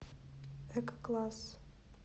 эко класс